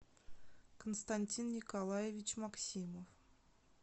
константин николаевич максимов